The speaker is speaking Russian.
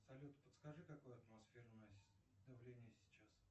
салют подскажи какое атмосферное давление сейчас